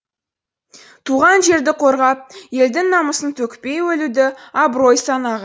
туған жерді қорғап елдің намысын төкпей өлуді абырой